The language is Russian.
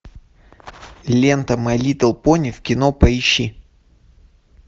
лента май литл пони в кино поищи